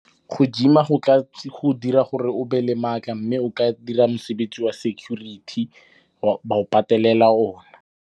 Go gym-a go tla go dira gore o be le matla mme o ka dira mosebetsi wa security, ba o patelela o na.